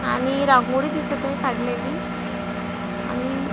आणि रांगोळी दिसत आहे काढलेली आणि --